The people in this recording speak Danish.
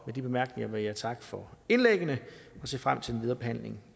med de bemærkninger vil jeg takke for indlæggene og se frem til den videre behandling